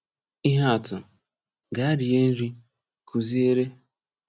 Ìhè àtụ̀: “Gaa rie nri, kụ́ziere.”